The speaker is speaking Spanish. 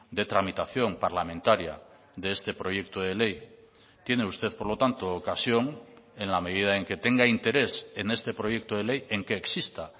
de tramitación parlamentaria de este proyecto de ley tiene usted por lo tanto ocasión en la medida en que tenga interés en este proyecto de ley en que exista